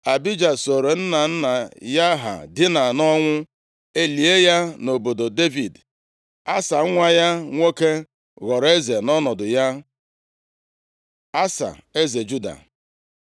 Abija sooro nna nna ya ha dina nʼọnwụ, e lie ya nʼobodo Devid. Asa, nwa ya nwoke ghọrọ eze nʼọnọdụ ya. Asa, eze Juda